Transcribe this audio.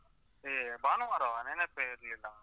ಏ ಭಾನುವಾರವಾ ನೆನಪೇ ಇರ್ಲಿಲ್ಲ.